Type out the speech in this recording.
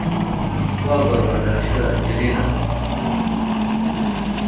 waa goorma dhalashada Angelina